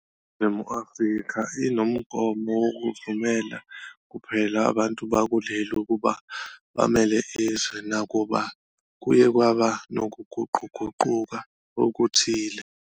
INingizimu Afrika inomgomo wokuvumela kuphela abantu bakuleli ukuba bamele izwe, nakuba kuye kwaba nokuguquguquka okuthile.